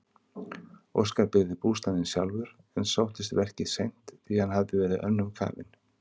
Óskar byggði bústaðinn sjálfur en sóttist verkið seint því hann hafði verið önnum kafinn.